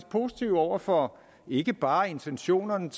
positive over for ikke bare intentionerne